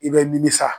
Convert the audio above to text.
I bɛ nimisa